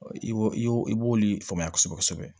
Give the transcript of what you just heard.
I y'o i y'o i b'oli faamuya kosɛbɛ kosɛbɛ